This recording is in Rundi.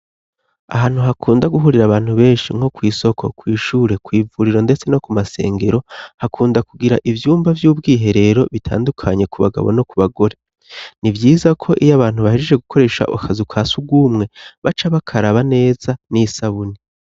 Ahantu hakunda guhurira abantu benshi nko kw'isoko kw'ishure kw'ivuriro, ndetse no ku masengero hakunda kugira ivyumba vy'ubwihe rero bitandukanye ku bagabo no ku bagore ni vyiza ko iyo abantu bahejeje gukoresha okazi uka si ugumwe baca bakaraba neza n'isabuni.